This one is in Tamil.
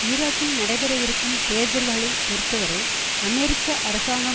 ஈராக்கில் நடைபெறவிருக்கும் தேர்தல்களை பொறுத்தவரை அமெரிக்க அரசாங்கம்